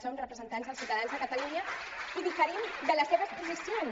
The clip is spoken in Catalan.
som representants dels ciutadans de catalunya i diferim de les seves posicions